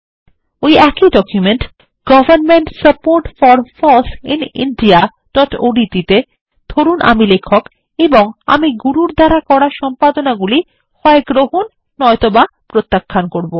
ওই একই document government support for foss in indiaওডিটি তে ধরুন আমি লেখক এবং আমি গুরুর করা সম্পাদনাগুলি হয় গ্রহণ বা নয় ত বা প্রত্যাখ্যান করব